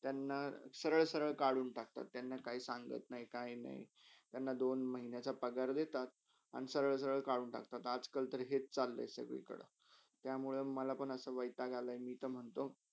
त्यांना सरल - सरल कडून टाकतात त्यांना काही सांगत नय काहीनही किवा दोन महिन्याच्या पगार देतात आणि सरल - सरल कडून टाकतात आज-कलतर हेच सगळयकडे त्यामुळे मलापण ऐसा वायताग आला कि मी ते महण्तो,